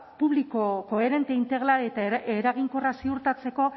publiko koherente integral eta eraginkorra ziurtatzeko